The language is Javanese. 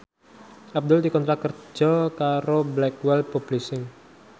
Abdul dikontrak kerja karo Blackwell Publishing